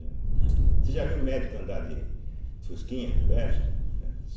Você já viu médico andar de fusquinha velho? né